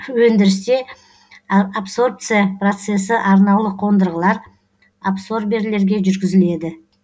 өндірісте абсорбция процесі арнаулы қондырғылар абсорберлерге жүргізіледі